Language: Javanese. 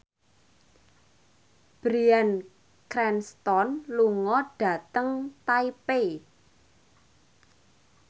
Bryan Cranston lunga dhateng Taipei